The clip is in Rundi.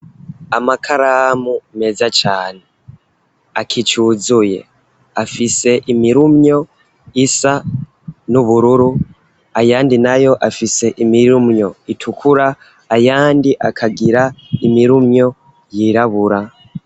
Amakaramu meza cane akicuzuye afise imirumyo isa n'ubururu ayandi na yo afise imirumyo itukura ayandi akagira imirumyo yirabura.